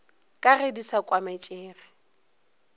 ka ge di sa kwametšege